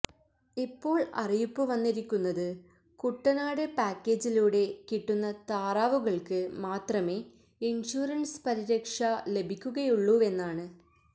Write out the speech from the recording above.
ഇപ്പോള് അറിയിപ്പു വന്നിരിക്കുന്നത് കുട്ടനാട് പാക്കേജിലൂടെ കിട്ടുന്ന താറാവുകള്ക്ക് മാത്രമെ ഇന്ഷ്വറന്സ് പരിരക്ഷ ലഭിക്കുകയുള്ളൂവെന്നാണ്